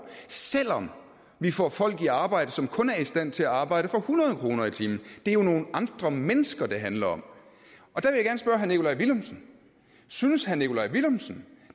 selv om vi får folk i arbejde som kun er i stand til at arbejde for hundrede kroner i timen det er jo nogle andre mennesker det handler om og herre nikolaj villumsen synes herre nikolaj villumsen